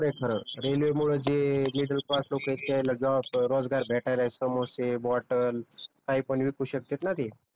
खर रेल्वे मूळ जे मिडल क्लास लोक आहेत त्यायला जॉब रोजगार भेटायला समोसे, बॉटल काही पण विकू शकतेत न ते